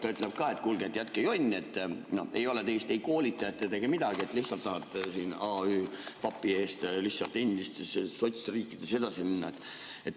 Ta ütleb siis ka, et kuulge, jätke jonn, ei ole teist ei koolitajat ega midagi, lihtsalt tahate siin aü papi eest endistesse sotsriikidesse edasi minna.